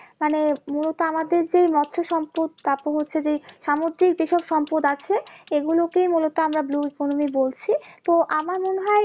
মানে মূলত আমাদের যেই মৎস সম্পদ যেই সামুদ্রিক যেসব সম্পদ আছে এগুলোকেই মূলত আমরা economy বলছি তো আমার মনে হয়